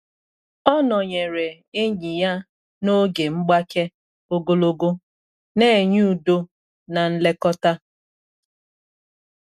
Ọ nọnyere enyi ya n’oge mgbake ogologo, na enye udo na nlekọta.